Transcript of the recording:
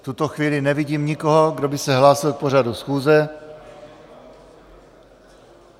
V tuto chvíli nevidím nikoho, kdo by se hlásil k pořadu schůze.